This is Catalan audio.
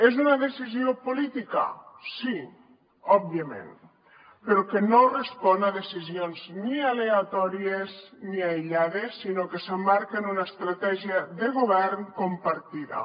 és una decisió política sí òbviament però no respon a decisions ni aleatòries ni aïllades sinó que s’emmarca en una estratègia de govern compartida